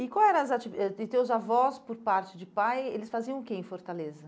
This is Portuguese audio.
E qual era as ativi eh, e teus avós, por parte de pai, eles faziam o que em Fortaleza?